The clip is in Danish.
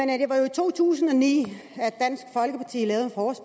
to tusind og ni